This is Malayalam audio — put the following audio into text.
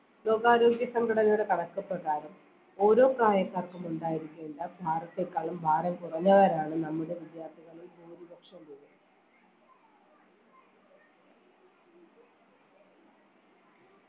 ലോകാരോഗ്യ സംഘടനയുടെ കണക്കു പ്രകാരം ഓരോ പ്രായക്കാർക്കും ഉണ്ടായിരിക്കേണ്ട ഭാരത്തെക്കാളും ഭാരം കുറഞ്ഞവരാണ് നമ്മുടെ വിദ്യാർത്ഥികളിൽ ഭൂരിപക്ഷം പേരും